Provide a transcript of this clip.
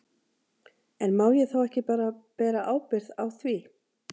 En má ég þá ekki bara bera ábyrgð á því?